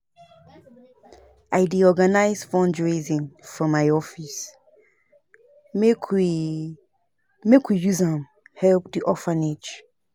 I dey organise fundraising for my office make we make we use am help di orphanage.